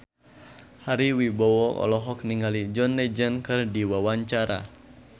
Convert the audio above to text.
Ari Wibowo olohok ningali John Legend keur diwawancara